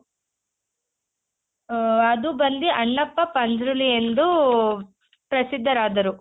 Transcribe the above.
ಆ ಅದು ಬಂದಿ ಅಣ್ಣಪ್ಪ ಪಂಜ್ರುಲಿ ಎಂದು ಪ್ರಸಿದ್ದರಾದರು.